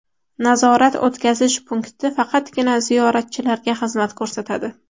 Nazorat-o‘tkazish punkti faqatgina ziyoratchilarga xizmat ko‘rsatadi.